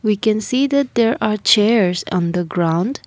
i can see that there are chairs on the ground.